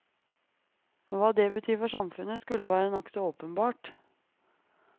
Hva det betyr for samfunnet, skulle være nokså åpenbart.